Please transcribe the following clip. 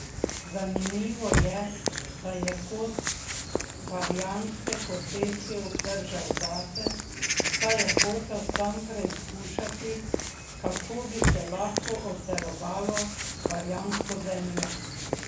Zanimivo je, da je kos barjanske posesti obdržal zase, saj je hotel sam preizkušati, kako bi se lahko obdelovalo barjansko zemljo.